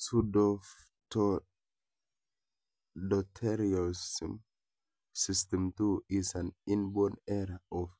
Psuedohypoaldosteronism type 2 is an inborn error of